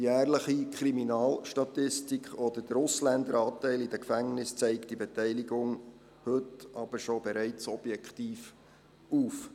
Die jährliche Kriminalstatistik oder der Ausländeranteil in den Gefängnissen zeigen diese Beteiligung bereits objektiv auf.